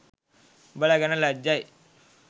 උඔල ගැන ලැජ්ජයි